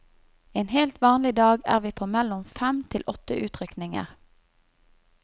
En helt vanlig dag er vi på mellom fem til åtte utrykninger.